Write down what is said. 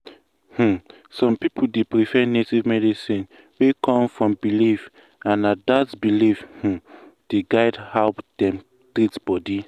um some people dey prefer native medicine wey come from belief and um na dat belief um dey guide how dem treat body.